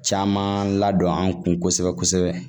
Caman ladon an kun kosɛbɛ kosɛbɛ